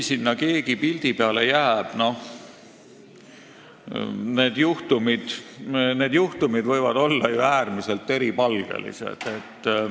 Need juhtumid võivad olla äärmiselt eripalgelised.